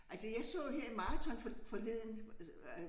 Altså jeg så her i maraton for forleden altså